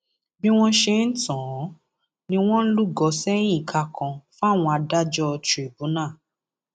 bí wọn ṣe ń tàn án ni wọn ń lúgọ sẹyìn ìka kan fáwọn adájọ tìrìbùnà